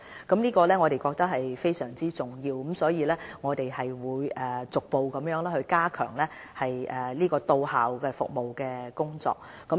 我們認為這項工作非常重要，所以會逐步加強到校服務的工作。